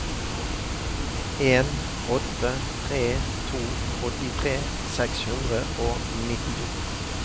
en åtte tre to åttitre seks hundre og nittito